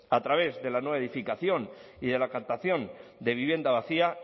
a través de la nueva edificación y de la captación de vivienda vacía